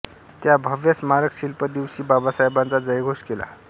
त्या भव्य स्मारक शिल्प दिवशी बाबासाहेबांचा जयघोष केला